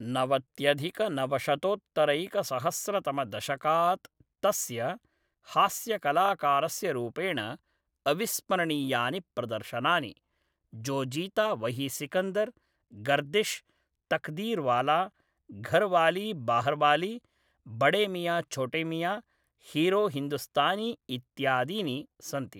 नवत्यधिकनवशतोत्तरैकसहस्रतमदशकात् तस्य हास्यकलाकारस्य रूपेण अविस्मरणीयानि प्रदर्शनानि, जो जीता वही सिकन्दर, गर्दिश्, तक़दीरवाला, घरवाली बाहरवाली, बड़े मियां छोटे मियां, हीरो हिन्दुस्तानी इत्यादीनि सन्ति।